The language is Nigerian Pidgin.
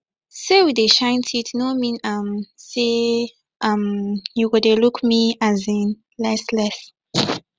say we dey shine teeth no mean um say um you go dey look me um less less